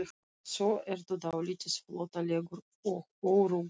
Svo ertu dálítið flóttalegur og óöruggur.